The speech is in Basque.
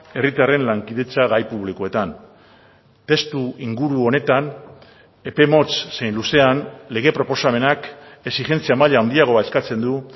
herritarren lankidetza gai publikoetan testuinguru honetan epe motz zein luzean lege proposamenak exijentzia maila handiagoa eskatzen du